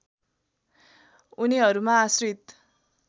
उनीहरूमा आश्रित